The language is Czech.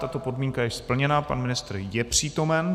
Tato podmínka je splněna, pan ministr je přítomen.